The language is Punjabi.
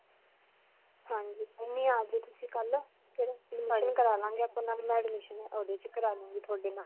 ਹਾਂਜੀ. ਤੁਸੀਂ ਕਲ੍ਹ ਤੇ admission ਕਰਵਾ ਲਵਾਂਗੇ ਆਪਾਂ. ਓਹਦੇ 'ਚ ਕਰ ਲੂਂਗੀ ਤੁਹਾਡੇ ਨਾਲ.